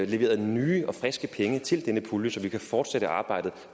leverede nye og friske penge til denne pulje så vi kan fortsætte arbejdet